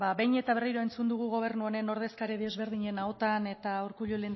behin eta berriro entzun dugu gobernu honen ordezkari ezberdinen ahotan eta urkullu